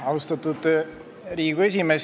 Austatud Riigikogu esimees!